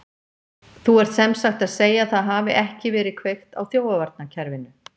Þú ert sem sagt að segja að það hafi ekki verið kveikt á þjófavarnarkerfinu?